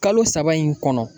Kalo saba in kɔnɔ